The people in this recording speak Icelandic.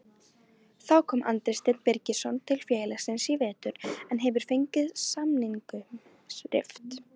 Þá kom Andri Steinn Birgisson til félagsins í vetur en hefur fengið samningnum rift.